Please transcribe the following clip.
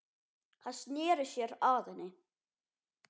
Hann sneri sér að henni.